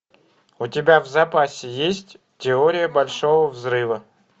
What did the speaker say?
у тебя в запасе есть теория большого взрыва